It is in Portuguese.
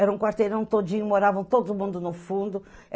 Era um quarteirão todinho, moravam todo mundo no fundo.